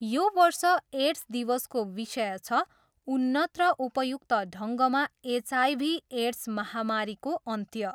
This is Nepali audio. यो वर्ष एड्स दिवसको विषय छ, उन्नत र उपयुक्त ढङ्गमा एचआइभी एड्स महामारीको अन्त्य।